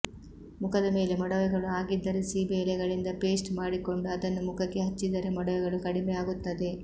ಮುಖದ ಮೇಲೆ ಮೊಡವೆಗಳು ಆಗಿದ್ದರೆ ಸೀಬೆ ಎಲೆಗಳಿಂದ ಪೇಸ್ಟ್ ಮಾಡಿಕೊಂಡು ಅದನ್ನ ಮುಖಕ್ಕೆ ಹಚ್ಚಿದರೆ ಮೊಡವೆಗಳು ಕಡಿಮೆ ಆಗುತ್ತವೆ